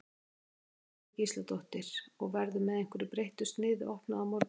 Jóhanna Margrét Gísladóttir: Og, verður með einhverju breyttu sniði opnað á morgun?